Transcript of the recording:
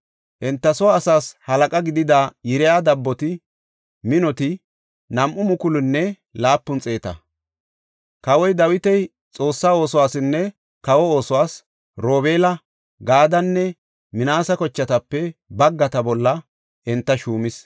Enta soo asaas halaqa gidida Yiriya dabboti minoti 2,700. Kawoy Dawiti Xoossa oosuwasinne kawa oosuwas Robeela, Gaadenne Minaase kochatape baggata bolla enta shuumis.